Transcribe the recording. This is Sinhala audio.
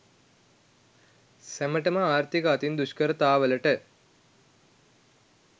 සැමටම ආර්ථික අතින් දුෂ්කරතාවලට